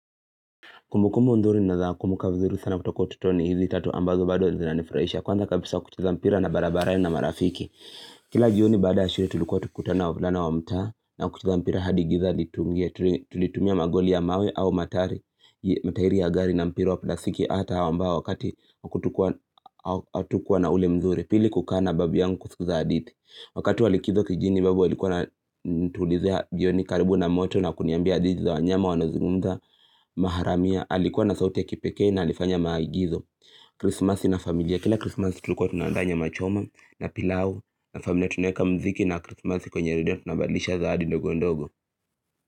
Kumbukumbu nzuri naweza kumuka vizuru sana kutoko ututoni hizi tatu ambazo bado zinanifurahisha. Kwanza kabisa kucheza mpira barabarani na marafiki. Kila jioni baada ya shule tulikuwa tukikutana wavulana wa mtaa na kucheza mpira hadi giza liingie. Tulitumia magoli ya mawe au matari. Matairi ya gari na mpira wa plastiki hata hawa ambao wakati hatukua na ule mzuri, pili kukana babi yangu kutuza hadithi. Wakati wa likizo kijini babu alikuwa anatulizia jioni karibu na moto na kuniambia hadithi za wanyama wanaozungumza maharamia Alikuwa na sauti ya kipeke na alifanya maagizo krismasi na familia, kila krismasi tulikuwa tunandaa nyama choma na pilau na familia tuneweka mziki na krismasi kwenye redio tunabadlishana hadi ndogo ndogo.